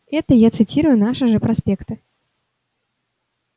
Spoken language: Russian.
это я цитирую наши же проспекты